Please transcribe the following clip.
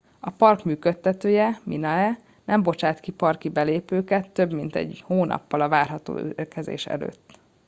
a park működtetője minae nem bocsát ki parki belépőket több mint egy hónappal a várható érkezés előtt